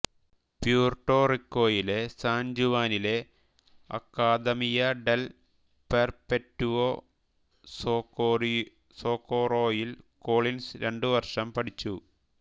Puerto റിക്കോയിലെ San ജുവാനിലെ Academia del Perpetuo സോകോറോയിൽ കോളിൻസ് രണ്ടുവർഷം പഠിച്ചു